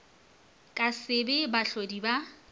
ka se be bahlodi ba